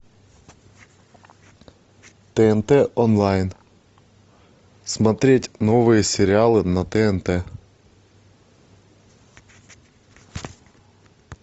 тнт онлайн смотреть новые сериалы на тнт